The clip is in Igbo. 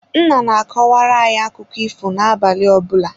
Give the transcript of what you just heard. Nna na-akọwara anyị akụkụ ifo na-abalị ọbụla.